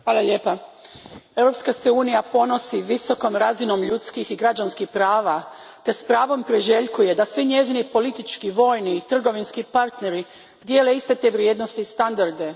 Poštovani predsjedniče, Europska se unija ponosi visokom razinom ljudskih i građanskih prava te s pravom priželjkuje da svi njezini politički, vojni i trgovinski partneri dijele iste te vrijednosti i standarde.